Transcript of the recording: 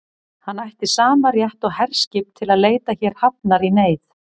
Hann ætti sama rétt og herskip til að leita hér hafnar í neyð.